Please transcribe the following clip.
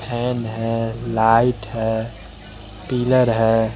Fan है light है pillar है।